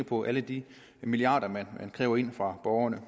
på alle de milliarder man kræver ind fra borgerne